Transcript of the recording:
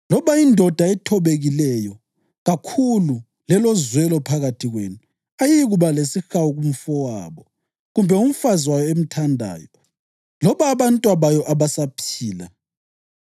Loba indoda ethobekileyo kakhulu lelozwelo phakathi kwenu ayiyikuba lesihawu kumfowabo kumbe umfazi wayo emthandayo loba abantwabayo abasaphila,